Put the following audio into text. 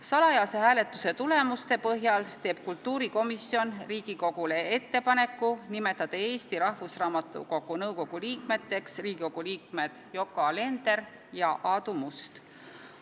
Salajase hääletuse tulemuste põhjal teeb kultuurikomisjon Riigikogule ettepaneku nimetada Eesti Rahvusraamatukogu nõukogu liikmeteks Riigikogu liikmed Yoko Alender ja Aadu Must.